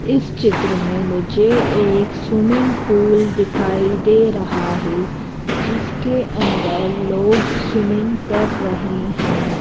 इस चित्र में मुझे एक स्विमिंग पूल दिखाई दे रहा है जिसके अंदर लोग स्विमिंग कर रहे हैं।